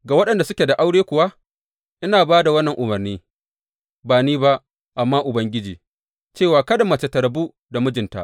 Ga waɗanda suke da aure kuwa ina ba da wannan umarni ba ni ba, amma Ubangiji cewa kada mace ta rabu da mijinta.